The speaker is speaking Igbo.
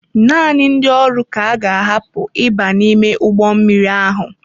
Naanị ndị ọrụ ka a ga-ahapụ iba n'ime ụgbọ mmiri ahụ.